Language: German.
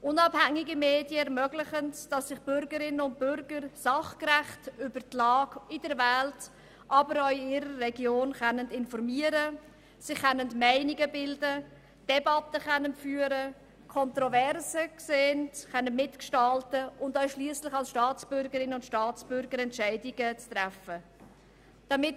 Unabhängige Medien ermöglichen es, dass sich Bürgerinnen und Bürger sachgerecht über die Lage in der Welt, aber auch in ihrer Region informieren, sich Meinungen bilden, Debatten führen, Kontroversen sehen, mitgestalten und letztlich als Staatsbürgerinnen und Staatsbürger Entscheidungen treffen können.